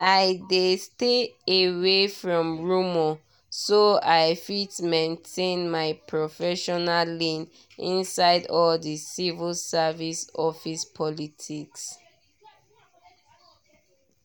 i dey stay away from rumour so i fit maintain my professional lane inside all the civil service office politics.